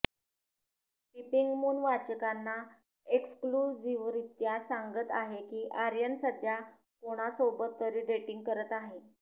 पिपिंगमुन वाचकांना एक्सक्लुझिव्हरित्या सांगत आहे की आर्यन सध्या कोणासोबत तरी डेटिंग करत आहे